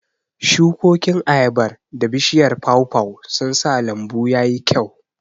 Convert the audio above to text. Shukokin ayabar da bishiyar pawpaw sun sa lambu ya yi kyau.